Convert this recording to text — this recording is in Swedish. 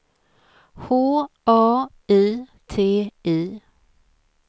H A I T I